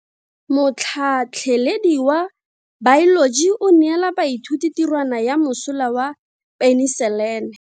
Motlhatlhaledi wa baeloji o neela baithuti tirwana ya mosola wa peniselene.